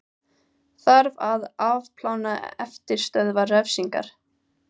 Þarf að afplána eftirstöðvar refsingar